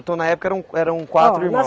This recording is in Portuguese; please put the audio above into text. Então na época eram eram quatro irmãos. Oh,